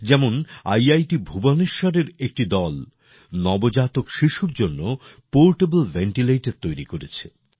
যেমন ইআইটি ভুবনেশ্বরের একটি দল নবজাতক শিশুর জন্য পোর্টেবল ভেন্টিলেটর তৈরি করেছে